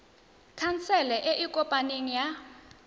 khansele e e kopaneng ya